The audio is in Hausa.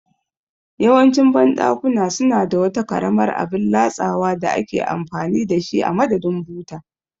Yawancin banɗakuna suna da wata karamar abin latsawa da ake amfani da shi a madadin buta